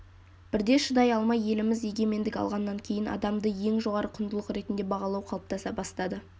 бірде шыдай алмай еліміз егемендік алғаннан кейін адамды ең жоғары құндылық ретінде бағалау қалыптаса бастады